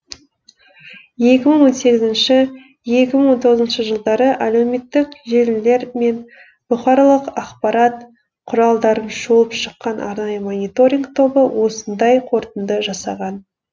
екі мың он сегізңші екі мың он жылдары әлеуметтік желілер мен бұқаралық ақпарат құралдарын шолып шыққан арнайы мониторинг тобы осындай қорытынды жасаған